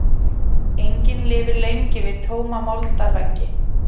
Engin lifir lengi við tóma moldarveggi.